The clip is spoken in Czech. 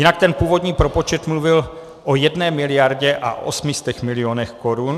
Jinak ten původní propočet mluvil o 1 miliardě a 800 milionech korun.